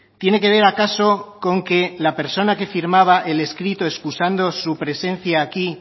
tiene que ver acaso con que la persona que firmaba el escrito excusando su presencia aquí